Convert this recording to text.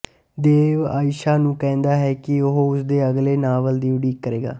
ਦੇਵ ਆਇਸ਼ਾ ਨੂੰ ਕਹਿੰਦਾ ਹੈ ਕਿ ਉਹ ਉਸਦੇ ਅਗਲੇ ਨਾਵਲ ਦੀ ਉਡੀਕ ਕਰੇਗਾ